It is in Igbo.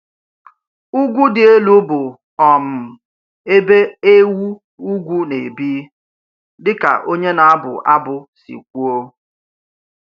Ugwu dị elu bụ um ebe ewu ugwu na-ebi, dị ka onye na-abụ abụ si kwuo.